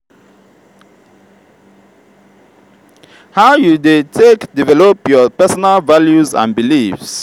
how you dey take develop your personal values and beliefs?